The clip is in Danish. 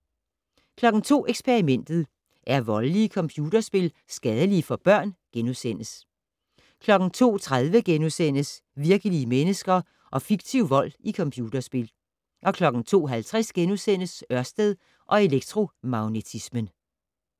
02:00: Eksperimentet: Er voldelige computerspil skadelige for børn? * 02:30: Virkelige mennesker og fiktiv vold i computerspil * 02:50: Ørsted og elektromagnetismen *